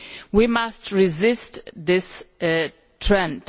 We must resist this trend.